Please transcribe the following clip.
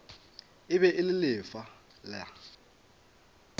e be e le fela